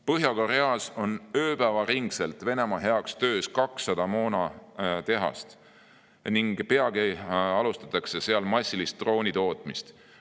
Põhja-Koreas on ööpäevaringselt Venemaa heaks töös 200 moonatehast ning peagi alustatakse seal massilist droonitootmist.